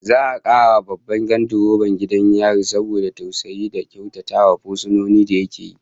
Za'a karrama Babban gandiroban gidan yarin saboda tausayi da kyautatawa fursunoni da yake yi